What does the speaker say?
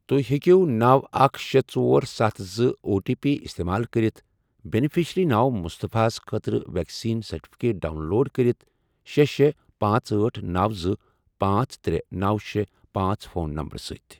تُہۍ ہیٚٚکِو نوَ، اکھ، شے، ژۄر، ستھ، زٕ، او ٹی پی استعمال کٔرِتھ بینِفیشرِی ناو مُصطفیٰ ہس خٲطرٕ ویکسیٖن سرٹِفکیٹ ڈاؤن لوڈ کٔرِتھ شے، شے، پانژھ، أٹھ، نوَ، زٕ، پانژھ، ترے، نوَ، شے، پانژھ، فون نمبرٕ سۭتۍ۔